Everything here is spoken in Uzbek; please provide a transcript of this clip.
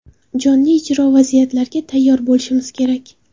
Jonli ijro, vaziyatlarga tayyor bo‘lishimiz kerak.